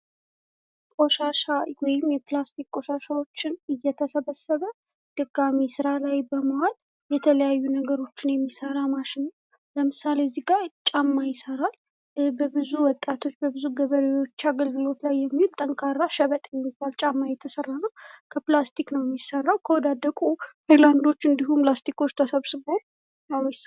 ቆሻሻ ወይም የፕላስቲክ ቆሻሻዎችን እየተሰበሰበ ድጋሚ ስራ ላይ በመዋል የተለያዩ ነገሮችን የሚሰራ ማሽን ለምሳሌ እዚህ ጋር ጫማ ይሰራል ብዙ ወጣቶች፣ በብዙ ገበሬዎች አገልግሎት ላይ የሚውል ጠንካራ ጫማ ሽብጥ የሚባል ጫማ እየተሰራ ነው። ከፕላስቲክ ነው የሚሰራው ከወዳደቁ ሃይላንዶች እንዲሁም ላስቲኮች ተሰብስቦ ነው የሚስራ